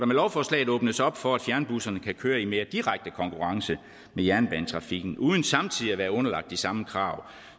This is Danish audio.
lovforslaget åbnes op for at fjernbusserne kan køre i mere direkte konkurrence med jernbanetrafikken uden samtidig at være underlagt de samme krav